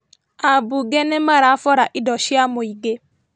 Ambunge nĩmarabora indo cia mũingĩ